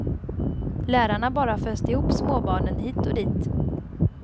Lärarna bara föste ihop små barnen hit och dit.